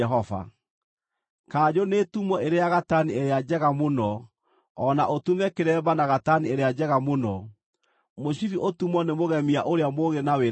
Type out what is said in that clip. “Kanjũ nĩĩtumwo ĩrĩ ya gatani ĩrĩa njega mũno, o na ũtume kĩremba na gatani ĩrĩa njega mũno. Mũcibi ũtumwo nĩ mũgemia ũrĩa mũũgĩ na wĩra ũcio.